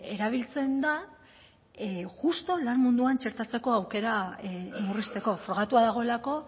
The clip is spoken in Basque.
erabiltzen da justu lan munduan txertatzeko aukera murrizteko frogatua dagoelako